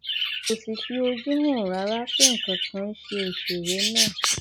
kò sì fi ojú hàn rárá pé nǹkan kan ń ṣe òṣèré náà